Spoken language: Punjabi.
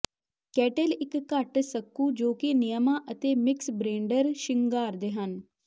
ਕੈਟੇਲ ਇੱਕ ਘੱਟ ਸੁੱਕੂ ਜੋ ਕਿ ਨਿਯਮਾਂ ਅਤੇ ਮਿਕਸਬਰੇਂਡਰ ਸ਼ਿੰਗਾਰਦੇ ਹਨ